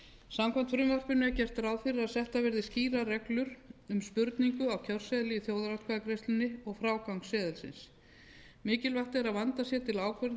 samkvæmt frumvarpinu er gert ráð fyrir að settar verði skýrar reglur um spurningu á kjörseðli í þjóðaratkvæðagreiðslunni og frágang seðilsins mikilvægt er að vandað sé til ákvörðunar um það hvernig